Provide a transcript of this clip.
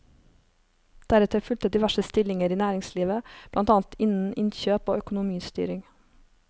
Deretter fulgte diverse stillinger i næringslivet, blant annet innen innkjøp og økonomistyring.